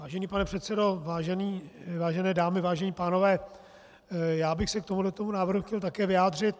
Vážený pane předsedo, vážené dámy, vážení pánové, já bych se k tomuto návrhu chtěl také vyjádřit.